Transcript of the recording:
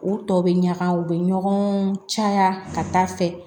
U tɔ bɛ ɲaga u bɛ ɲɔgɔn caya ka taa fɛ